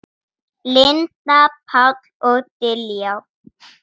Linda, Páll og Diljá.